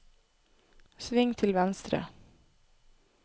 sving til venstre